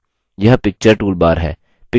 यह picture toolbar है